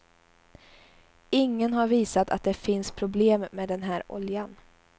Ingen har visat att det finns problem med den här oljan.